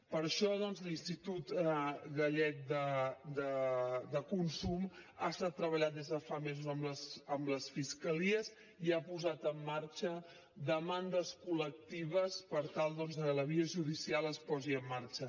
per això doncs l’institut gallec de consum ha estat treballant des de fa mesos amb les fiscalies i ha posat en marxa demandes col·lectives per tal que la via judicial es posi en marxa